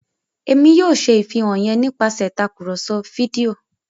Èmí yóò ṣe ìfihàn yén nipasẹ Tàkùrọ̀sọ fídíò